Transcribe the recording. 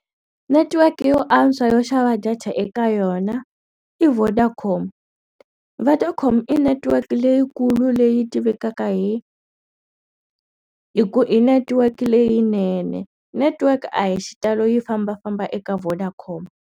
Netiweke yo antswa yo xava data eka yona i Vodacom Vodacom i network leyikulu leyi tivekaka hi hi ku i network leyinene network a hi xitalo yi fambafamba eka Vodacom.